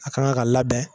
A kan ka labɛn